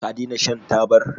ka dena shan tabar?